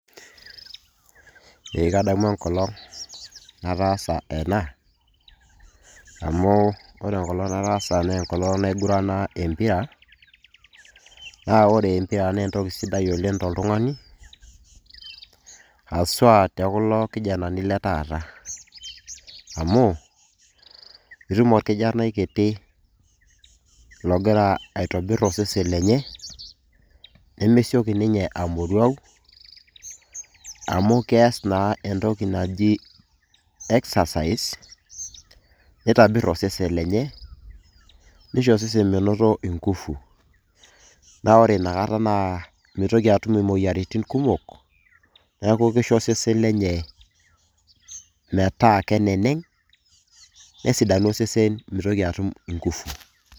Eee kadamu enkolong' nataasa ena amu kore enkolong' nataasa nee enkolong' naigurana empira naa ore empira nee entoki sidai oleng' toltung'ani haswa te kulo kijana ni le taata, amu itum orkijanai kiti logira aitobir osesen lenye nemesioki ninye amoruau amu kees ninye entoki naji exercise, nitobir osesen lenye nisho osesen minoto nguvu naa ore inakata mitoki atum moyiaritin kumok. Neeku kisho osesen lenye metaa keneneng' nesidanu osesen nitoki atum nguvu.